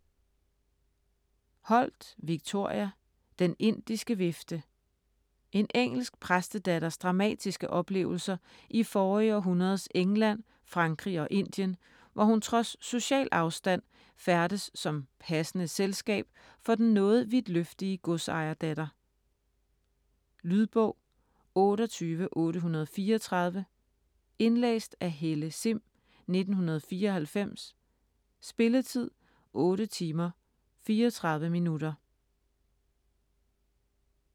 Holt, Victoria: Den indiske vifte En engelsk præstedatters dramatiske oplevelser i forrige århundredes England, Frankrig og Indien, hvor hun trods social afstand færdes som "passende selskab" for den noget vidtløftige godsejerdatter. Lydbog 28834 Indlæst af Helle Sihm, 1994. Spilletid: 8 timer, 34 minutter.